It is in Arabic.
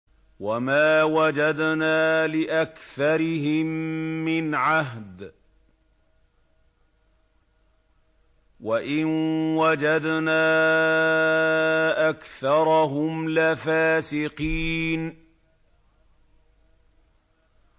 وَمَا وَجَدْنَا لِأَكْثَرِهِم مِّنْ عَهْدٍ ۖ وَإِن وَجَدْنَا أَكْثَرَهُمْ لَفَاسِقِينَ